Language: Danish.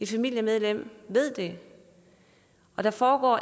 familiemedlem ved det og der foregår